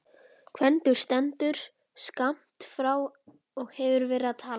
Gvendur stendur skammt frá og hefur verið að tala.